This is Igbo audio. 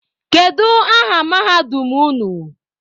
Kedu aha mahadum unu?